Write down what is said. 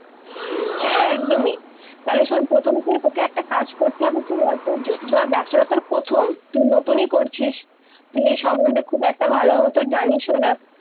হ্যাঁ-হ্যাঁ একদমি তালে-শুন প্রথমে তুই, তকে একটা কাজ করতে হবে কি বলতো ব্যবসাটা তর প্রথম, তুই নতুনি করছিস, তুই এই সম্বন্ধে খুব একটা ভালো হতে জানিস অ না-